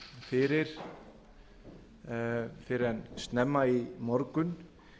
fyrir fyrr en snemma í morgun